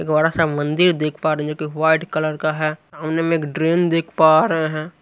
एक बड़ासा मंदिर देख पा रहे हैं जो कि व्हाइट कलर का है। सामने में ट्रेन देख पा रहे हैं।